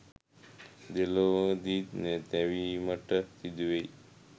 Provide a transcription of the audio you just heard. දෙලොවදීම තැවීමට සිදුවෙයි.